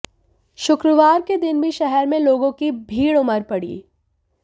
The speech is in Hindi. शुक्रवार के दिन भी शहर में लोगों की भीड़ उमड़ पड़ी